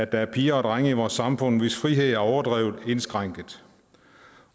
der er piger og drenge i vores samfund hvis frihed er overdrevet indskrænket